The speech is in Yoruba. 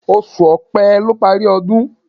Oṣù Opẹ́ ló parí ọdún